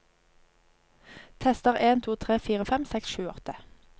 Tester en to tre fire fem seks sju åtte